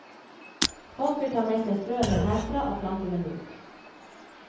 Folk vil ta med seg frøene herfra og plante dem ut.